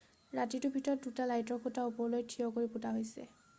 ৰাতিটোৰ ভিতৰত 2টা লাইটৰ খুটা ওপৰলৈ থিয় কৰি পোতা হৈছে